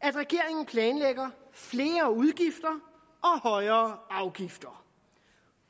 at regeringen planlægger flere udgifter og højere afgifter